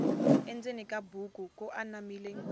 endzeni ka buku ku anamile